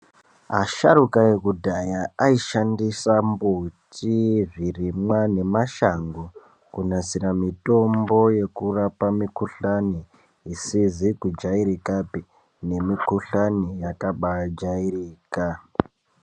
Asharuka ekudhaya asishandisa mbuti, zvirimwa nemashango kunasira mitombo yekurapa mikuhlani isizi kujairikapi nemikuhlani yakaba jairika.